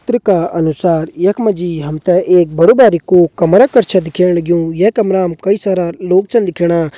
चित्र का अनुसार यख मा जी हम त जी एक बड़ू कू कमरा छ दिखेण लग्युं ये कमरा हम कई सारा लोग छन दिखेणा।